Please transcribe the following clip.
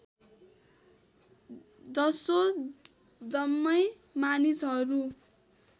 जसो जम्मै मानिसहरू